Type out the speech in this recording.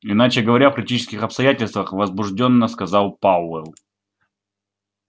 иначе говоря в критических обстоятельствах возбуждённо сказал пауэлл